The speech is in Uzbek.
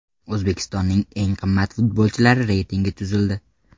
O‘zbekistonning eng qimmat futbolchilari reytingi tuzildi.